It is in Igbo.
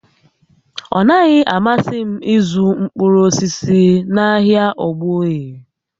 Ọ naghị amasị m ịzụ mkpụrụ osisi n'ahịa Ogboye